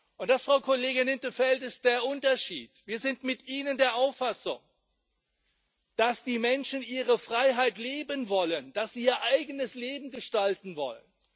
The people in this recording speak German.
Und das, Frau Kollegin in 't Veld, ist der Unterschied Wir sind mit Ihnen der Auffassung, dass die Menschen ihre Freiheit leben wollen, dass sie ihr eigenes Leben gestalten wollen.